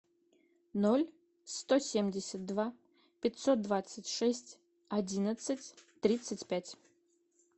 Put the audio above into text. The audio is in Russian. ноль сто семьдесят два пятьсот двадцать шесть одиннадцать тридцать пять